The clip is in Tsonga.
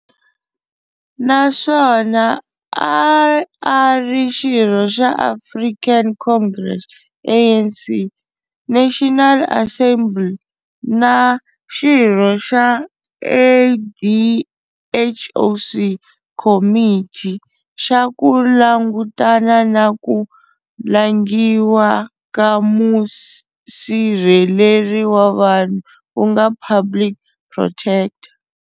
Na swona a a ri xirho xa African Congress, ANC, National Assembly, na xirho xa AdHoc Committee xa ku langutana na ku langiwa ka Musirheleri wa Vanhu ku nga Public Protector.